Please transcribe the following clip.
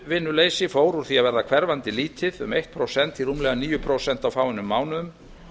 atvinnuleysi fór úr því að vera hverfandi lítið um eitt prósent í rúmlega níu prósent á fáeinum mánuðum